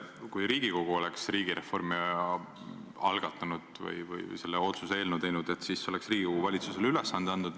Kui Riigikogu oleks riigireformi algatanud või selle otsuse eelnõu teinud, siis oleks Riigikogu valitsusele ülesande andnud.